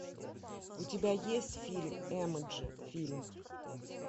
у тебя есть фильм эмоджи фильм